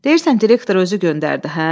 Deyirsən direktor özü göndərdi, hə?